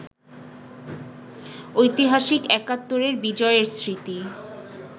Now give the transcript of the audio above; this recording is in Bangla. ঐতিহাসিক একাত্তরের বিজয়ের স্মৃতি